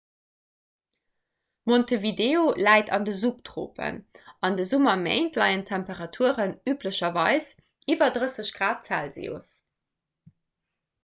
montevideo läit an den subtropen; an de summerméint leien d'temperaturen üblecherweis iwwer +30 grad celsius